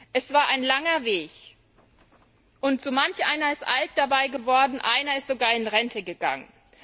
Es war ein langer Weg, und so manch einer ist dabei alt geworden, einer ist sogar in Rente gegangen.